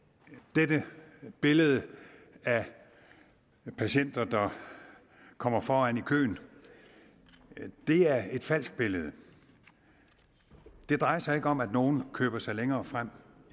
dette billede af patienter der kommer foran i køen er et falsk billede det drejer sig ikke om at nogle køber sig længere frem